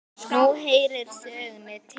Nú heyrir það sögunni til.